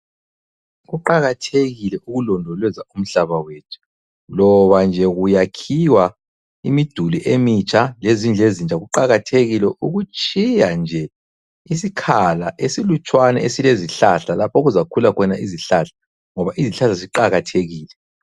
Kuqakathekile ukulondoloza umhlaba wethu, loba nje kuyakhiwa imiduli emitsha, lezindlu ezintsha kuqakathekile ukutshiya nje isikhala esilutshwana esilezihlahla lapha okuzakhula khona izihlahla ngoba izihlahla ziqakathekile.